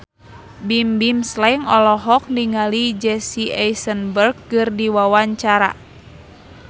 Bimbim Slank olohok ningali Jesse Eisenberg keur diwawancara